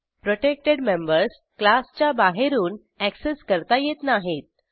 protected members क्लासच्या बाहेरून access करता येत नाहीत